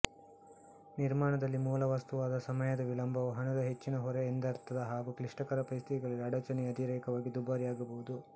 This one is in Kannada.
ನಿರ್ಮಾಣದಲ್ಲಿ ಮೂಲವಸ್ತುವಾದ ಸಮಯದ ವಿಳಂಬವು ಹಣದ ಹೆಚ್ಚಿನ ಹೊರೆ ಎಂದರ್ಥ ಹಾಗೂ ಕ್ಲಿಷ್ಟಕರ ಪರಿಸ್ಥಿತಿಗಳಲ್ಲಿ ಅಡಚಣೆಯು ಅತಿರೇಕವಾಗಿ ದುಬಾರಿಯಾಗಬಹುದು